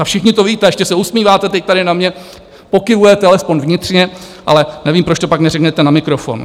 A všichni to víte, ještě se usmíváte teď tady na mě, pokyvujete alespoň vnitřně, ale nevím, proč to pak neřeknete na mikrofon!